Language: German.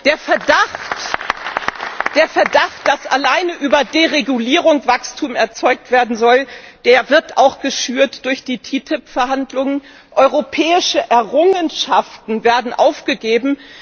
Der Verdacht, dass alleine über Deregulierung Wachstum erzeugt werden soll, wird auch geschürt durch die TTIP Verhandlungen Europäische Errungenschaften werden aufgegeben.